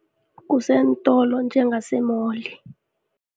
Kuseentolo njengasemoli.